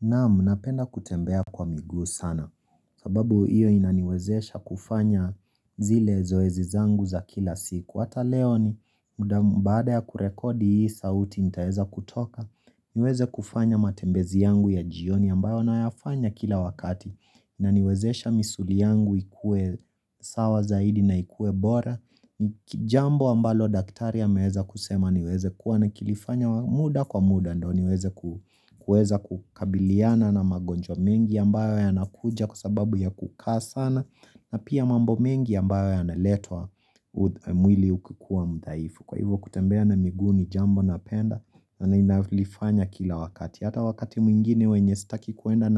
Naam napenda kutembea kwa miguu sana sababu iyo inaniwezesha kufanya zile zoezi zangu za kila siku. Hata leo ni muda baada ya kurekodi hii sauti nitaeza kutoka niweze kufanya matembezi yangu ya jioni ambayo nayafanya kila wakati. Na niwezesha misuli yangu ikue. Sawa zaidi na ikue bora ni jambo ambalo daktari ameweza kusema niweze kuwa na nikilifanya muda kwa muda ndo niweze kuweza kukabiliana na magonjwa mengi ambayo yanakuja kwasababu ya kukaa sana na pia mambo mengi ambayo yanaletwa. Mwili ukikuwa mdhaifu kwa hivyo kutembea na miguu ni jambo napenda na nalifanya kila wakati hata wakati mwingine wenye sitaki kuenda